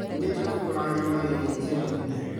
Nyumĩte kũgura nyama gĩthĩnjĩro-inĩ